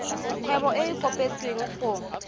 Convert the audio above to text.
kgwebo e e kopetswengcc go